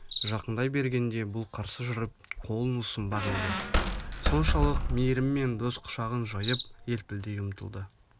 жақындай бергенде бұл қарсы жүріп қолын ұсынбақ еді соншалық мейіріммен дос құшағын жайып елпілдей ұмтылды